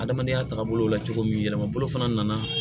Adamadenya taabolo la cogo min yɛlɛmabolo fana nana